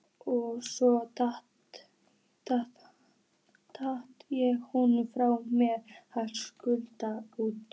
Og svo hratt ég honum frá mér og snaraðist út.